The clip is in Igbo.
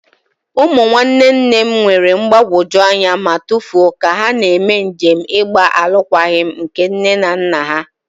Ụmụ nwanne nne m nwere mgbagwoju anya ma tụfuo ka ha na-eme njem ịgba alụkwaghịm nke nne na nna ha.